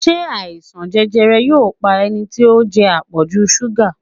Ṣé àìsàn jẹjẹrẹ yóò pa ẹni tí ó ń jẹ àpọ̀jù súgà?